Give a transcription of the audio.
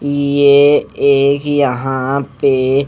ये एक यहां पे--